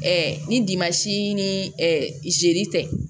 ni ni tɛ